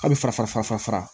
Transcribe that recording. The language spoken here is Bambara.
A' bɛ fara fara